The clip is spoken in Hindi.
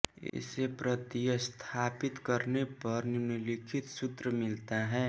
इसे प्रतिस्थापित करने पर निम्नलिखित सूत्र मिलता है